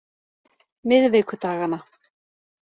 miðvikudagana